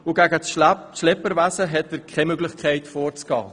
Er hat keine Möglichkeit, gegen das Schlepperwesen vorzugehen.